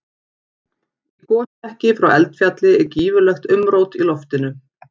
Í gosmekki frá eldfjalli er gífurlegt umrót í loftinu.